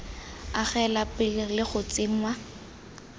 agelwa pele le go tsenngwa